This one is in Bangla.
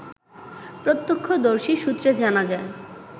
প্রত্যক্ষদর্শী সূত্রে জানা যায়